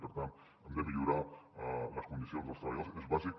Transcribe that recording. per tant hem de millorar les condicions dels treballadors és bàsic